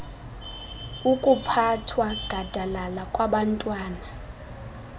okuphathwa gadalala kwabantwana